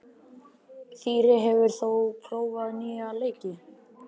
Þyrí, hefur þú prófað nýja leikinn?